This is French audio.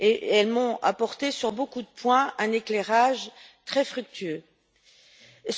Elles m'ont apporté sur beaucoup de points un éclairage très enrichissant.